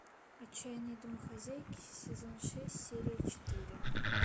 отчаянные домохозяйки сезон шесть серия четыре